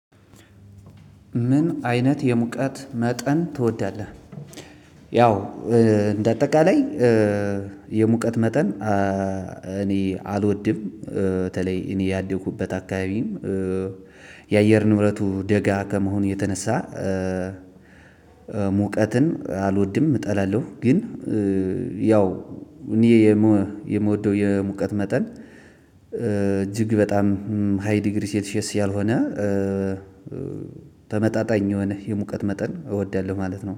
ምን አይነት የሙቀት መጠን ትወዳለህ? ያው እንደ አጠቃላይ የሙቀት መጠን እኔ አልወድም በተለይ እኔ ያደኩበት አካባቢም የአየር ንብረቱ ደጋ ከመሆኑ የተነሳ። ሙቀትን አልወድም እጠላለሁ ግን። ያው እኔ የምወደው የሙቀት መጠን እጅግ በጣም ሃይ ዲግሪ ሴልሼስ ያልሆነ። ተመጣጣኝ የሆነ የሙቀት መጠን እወዳለሁ ማለት ነው